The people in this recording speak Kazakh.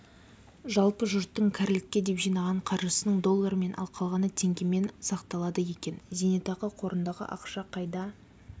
жалпы жұрттың кәрілікке деп жиған қаржысының доллармен ал қалғаны теңгемен сақталады екен зейнетақы қорындағы ақша қайда